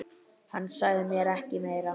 Hann sagði ekki meira.